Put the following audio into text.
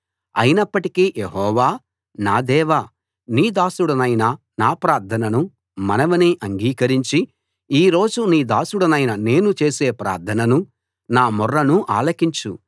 అయినప్పటికీ యెహోవా నా దేవా నీ దాసుడినైన నా ప్రార్థననూ మనవినీ అంగీకరించి ఈ రోజు నీ దాసుడినైన నేను చేసే ప్రార్థననూ నా మొర్రనూ ఆలకించు